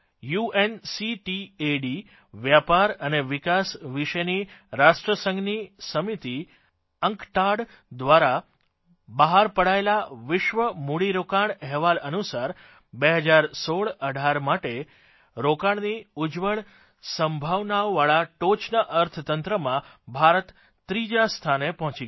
UNCTAD વેપાર અને વિકાસ વિષેની રાષ્ટ્રસંઘની સમિતિ અંકટાડ દ્વારા બહાર પડાયેલા વિશ્વ મૂડીરોકાણ અહેવાલ અનુસાર 201618 માટે રોકાણની ઉજ્જવળ સંભાવનાવાળા ટોચના અર્થતંત્રોમાં ભારત ત્રીજા સ્થાને પહોંચી ગયું છે